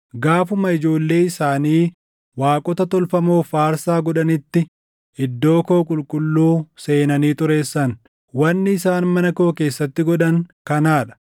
Gaafuma ijoollee isaanii waaqota tolfamoof aarsaa godhanitti iddoo koo qulqulluu seenanii xureessan. Wanni isaan mana koo keessatti godhan kanaa dha.